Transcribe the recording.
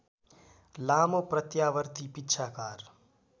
लामो प्रत्यावर्ती पिच्छाकार